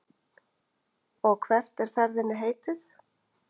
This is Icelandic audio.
Og hvert er ferðinni heitið?